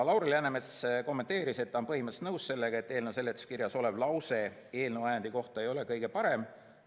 Lauri Läänemets kommenteeris, et ta on põhimõtteliselt nõus sellega, et eelnõu seletuskirjas olev lause eelnõu ajendi kohta ei ole kõige parem.